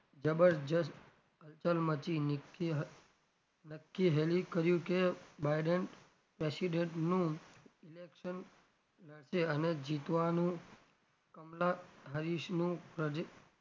જબરજસ્ત culture માંથી નીકળી નક્કી હેલી કર્યું કે biden president નું election રહેશે અને જીતવાનું કમલા હરીશનું પ્રજે,